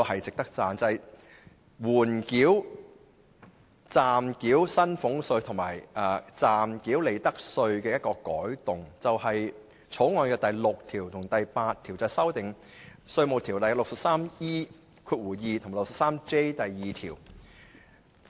就暫繳薪俸稅及利得稅的緩繳，《條例草案》第6及8條修訂《稅務條例》第 63E2 及 63J2 條。